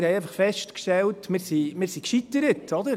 Wir haben einfach festgestellt, dass wir gescheitert sind.